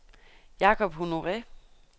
Jakob Honore